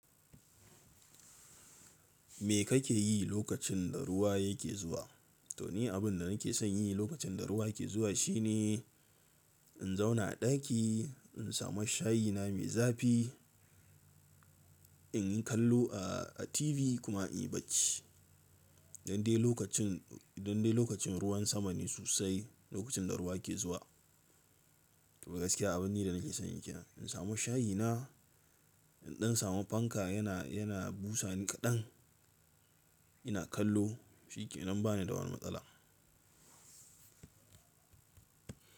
Me kake yi lokacin da ruwa yake zuwa? To ni abin da nake son yi lokacin da ruwa ke zuwa shine in zauna a ɗaki, in samu shayi na mai zafi, in yi kallo a a TV kuma in yi bacci. Dan dai lokacin, dan dai lokacin ruwan sama ne sosai lokacin da ruwa ke zuwa. To gaskiya abin ne da nake son yi kenan. In samu shayi na, in ɗan samu fanka yana, yana busa ni kaɗan, ina kallo shi ke nan ba ni da wani matsala.